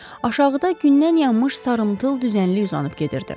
Aşağıda gündən yanmış sarımtıl düzənlik uzanıb gedirdi.